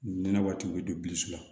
Nɛnɛ waati bɛ don bilisi la